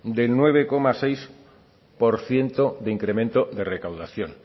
de nueve coma seis por ciento de incremento de recaudación